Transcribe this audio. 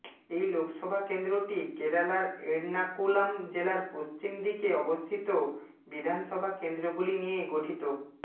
এই লোকসভা কেন্দ্রটি কেরালার এর্নাকুলাম জেলার পশ্চিম দিকে অবস্থিত বিধানসভা কেন্দ্রগুলি নিয়ে গঠিত